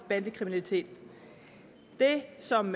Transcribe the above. bandekriminalitet det som